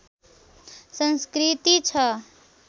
संस्‍कृति छ